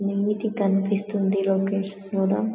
neat గ కనిపిస్తోంది ఈ లొకేషన్ కూడా--